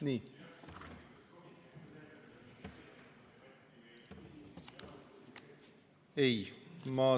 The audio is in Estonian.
Nii.